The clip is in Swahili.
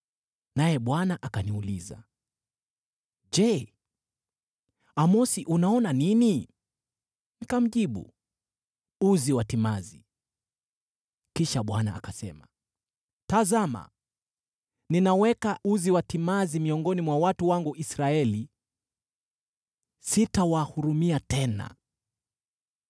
Naye Bwana akaniuliza, “Je, Amosi unaona nini?” Nikamjibu, “Uzi wa timazi.” Kisha Bwana akasema, “Tazama, ninaweka uzi wa timazi miongoni mwa watu wangu Israeli; sitawahurumia tena.